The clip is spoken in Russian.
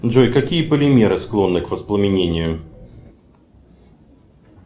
джой какие полимеры склонны к воспламенению